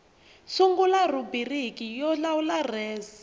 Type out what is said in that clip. sungula rhubiriki yo lawula res